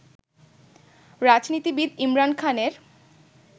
রাজনীতিবিদ ইমরান খানের